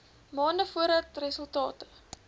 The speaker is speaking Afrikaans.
maande voordat resultate